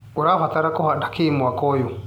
ũrabanga kũhanda kĩ mwaka ũyũ.